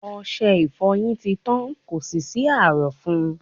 Ọṣe ìfọyín ti tán, kò sì sí ààrọ̀ fún un..